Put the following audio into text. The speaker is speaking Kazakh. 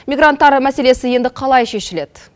мигранттар мәселесі енді қалай шешіледі